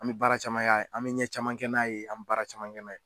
An be baara caman k'a ye an be ɲɛ caman kɛ n'a ye an m baara caman kɛ n'a ye.